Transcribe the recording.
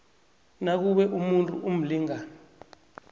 nakube umuntu umlingani